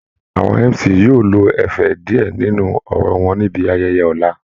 Àwọn MC yóò lo ẹ̀fẹ̀ díẹ̀ nínú ọ̀rọ̀ wọn níbi ayẹyẹ ọ̀la